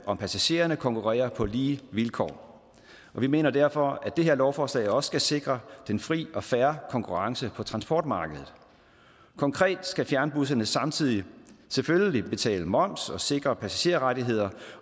om passagererne konkurrerer på lige vilkår vi mener derfor at det her lovforslag også skal sikre den frie og fair konkurrence på transportmarkedet konkret skal fjernbusserne samtidig selvfølgelig betale moms og sikre passagerrettigheder